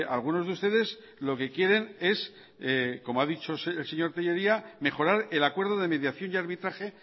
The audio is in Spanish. algunos de ustedes lo que quieren es como ha dicho el señor tellería mejorar el acuerdo de mediación y arbitraje